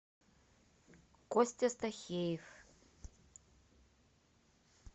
костя стахеев